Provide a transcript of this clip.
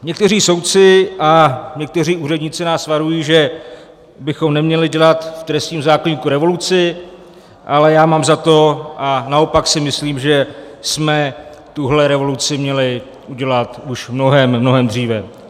Někteří soudci a někteří úředníci nás varují, že bychom neměli dělat v trestním zákoníku revoluci, ale já mám za to, a naopak si myslím, že jsme tuto revoluci měli udělat už mnohem, mnohem dříve.